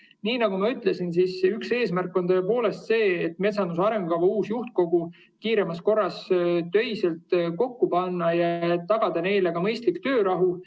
Nii nagu ma ütlesin, üks eesmärke on see, et metsanduse arengukava uus töine juhtkogu kiiremas korras kokku panna ja tagada neile ka mõistlik töörahu.